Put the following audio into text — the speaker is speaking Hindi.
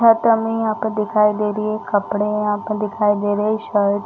यहाँ पे दिखाई दे रही है कपड़े यहाँ पे दिखाई दे रही शर्ट --